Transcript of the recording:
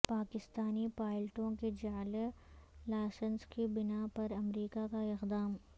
پاکستانی پائلٹوں کے جعلی لائسنس کی بناء پر امریکہ کا اقدام